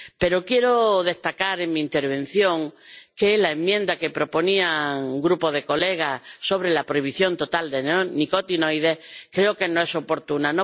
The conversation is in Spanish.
Pero quiero destacar en mi intervención que la enmienda que proponía un grupo de colegas sobre la prohibición total de neonicotinoides creo que no es oportuna.